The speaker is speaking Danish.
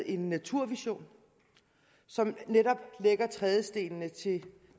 en naturvision som netop lægger trædestenene til